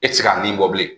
E tɛ se ka nin bɔ bilen